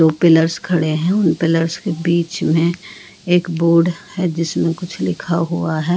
दो पिलर्स खड़े हैं और पिलर्स के बिच में एक बोर्ड है जिसमें कुछ लिखा हुआ है।